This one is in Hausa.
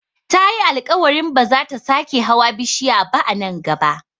Tayi alkawarin ba zata sake hawa bishiya ba a nan gaba